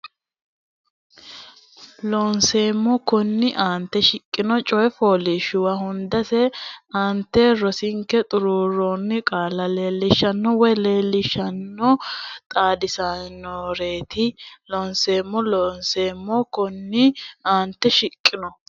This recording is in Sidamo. Looseemmo konninni aante shiqqino coy fooliishshuwa hundansa aantete rosinke xuruurroonni qaalla leellishaano woy leellishaanonna xaadisaanonnireeti Looseemmo Looseemmo konninni aante shiqqino.